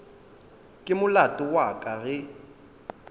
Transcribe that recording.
ke molato wa ka ge